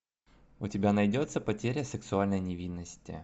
у тебя найдется потеря сексуальной невинности